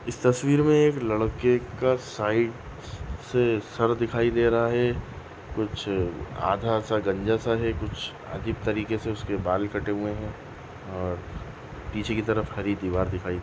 इस तस्वीर मे लड़के का साइड से सर दिखाई दे है कुछ आधासा गंजासा है कुछ आधे तरीके से उसके बाल कटे हुए है और पीछे की तरफ़ खाली दीवार दिखाई --